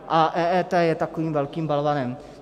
A EET je takovým velkým balvanem.